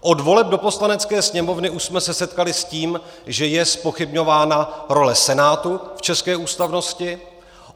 Od voleb do Poslanecké sněmovny už jsme se setkali s tím, že je zpochybňována role Senátu v české ústavnosti.